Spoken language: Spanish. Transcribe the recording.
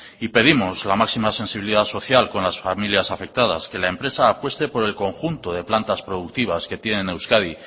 y pedimos la máxima sensibilidad social con las familias afectadas que la empresa apueste por el conjunto de plantas productivas que tiene en euskadi